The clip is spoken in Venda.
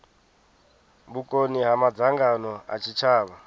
vhukoni ha madzangano a tshitshavha